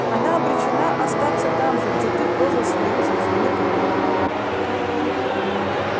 она обречена остаться там же где ты прожил свою жизнь в метро